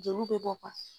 Jeliw bɛ bɔ